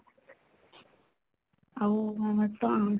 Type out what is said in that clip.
ଆଉ